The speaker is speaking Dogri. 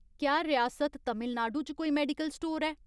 क्या रियासत तमिलनाडु च कोई मेडिकल स्टोर ऐ ?